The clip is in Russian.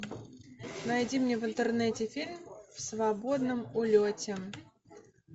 найди мне в интернете фильм в свободном улете